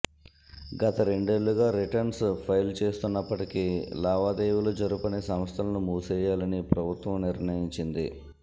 గత రెండేళ్లుగా returns file చేస్తున్నప్పటికీ లావాదేవీలు జరపని సంస్థలను మూసేయాలని ప్రభుత్వం నిర్ణయించింది